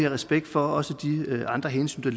respekt for også de andre hensyn der